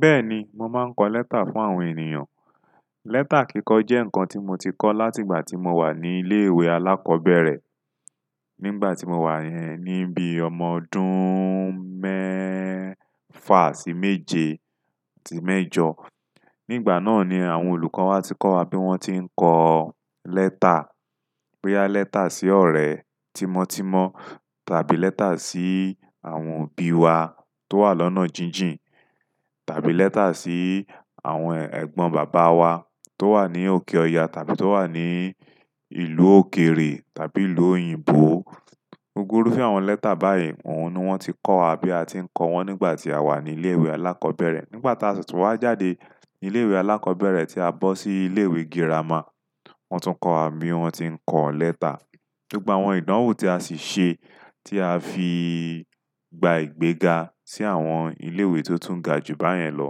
Bẹ́ẹ̀ni, mo máa ń kọ lẹ́tà fún àwọn ènìyàn. Lẹ́tà kíkọ jẹ́ nǹkan tí mo ti kọ́ láti ìgbà tí mo wà ní ilé-ìwé alákọ́bẹ̀rẹ̀ nígbà tí mo wà ní bi ọmọ ọdún méèfà sí méje àti mẹ́jọ. Nígbà náà ni àwọn olùkọ́ wa ti kọ́ wa bí wọ́n ti ń kọ lẹ́tà, boya lẹ́tà sí ọ̀rẹ́ tímọ́tímọ́ tàbí lẹ́tà sí àwọn òbí wa tó wà lọ́nà jíjìn tàbí lẹ́tà sí àwọn ẹ̀gbọ́n bàbá wa tó wà ní òkè ọya tàbí tó wà ní ìlú òkèrè tàbí ìlú òyìnbó. Gbogbo irúfẹ́ àwọn lẹ́tà báyìí, òun ni wọ́n ti kọ́ wa bí a ti ń ko wọn nígbà tí a wà ní ilé-ìwé alákọ́bẹ̀rẹ̀. Nígbà tí a si tún wá jáde ni ilé-ìwé alákọ́bẹ̀rẹ̀ tí a bọ́ sí ilé-ìwé girama, wọ́n tún kọ́ wa bí wọ́n ti ń kọ lẹ́tà. Gbogbo àwọn ìdánwò tí a sì ṣe tí a fi gba ìgbéga sí àwọn ilé-ìwé tó tún ga jù báyen lọ,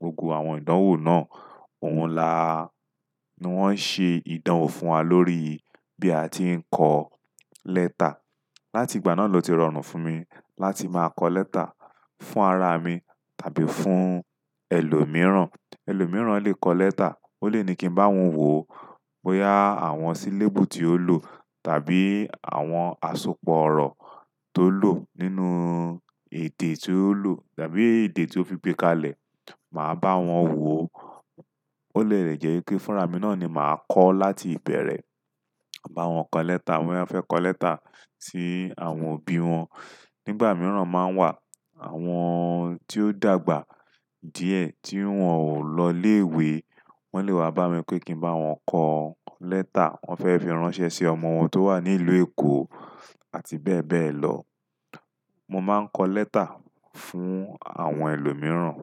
gbogbo àwọn ìdánwò náà, òun la ni wọ́n ṣe ìdánwò fún wa lórí bí a ti ń kọ lẹ́tà. Láti ìgbà náà ló ti rọrùn fún mi láti máa kọ lẹ́tà fún ara mi tàbí fún ẹlòmíràn. Ẹlòmíràn lè kọ lẹ́tà, ó lè ní kí n bá wọn wò ó, boya àwọn sílébù tí ó lò tàbí àwọn àsopọ̀ ọ̀rọ̀ tó lò nínú èdè tí ó lò tàbí èdè tí ó fi gbé kalẹ̀. Màá bá wọn wò. Ó dẹ̀ lẹ̀ jẹ́ wi pe fúnra mi náà ni màá kọ láti ìbẹ̀rẹ̀. Màá bá wọn kọ lẹ́tà, boya wọn fẹ́ kọ lẹ́tà sí àwọn òbí wọn. Nígbà mìràn máa ń wà àwọn tí ó dàgbà díẹ̀ tí wọn ò lọ ilé-ìwé, wọ́n lè wá bá mi pé kí n bá wọn kọ lẹ́tà, wọ́n fẹ́ fi ránṣẹ́ sí ọmọ wọn tó wà ní ìlú Èkó àti bẹ́ẹ̀ bẹ́ẹ̀ lọ. Mo máa ń kọ lẹ́tà fún àwọn ẹlòmíràn.